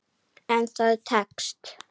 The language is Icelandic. En það tekst.